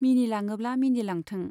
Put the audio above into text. मिनिलाङोब्ला मिनिलांथों।